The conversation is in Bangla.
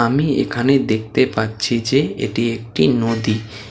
আমি এখানে দেখতে পাচ্ছি যে এটি একটি নদী ।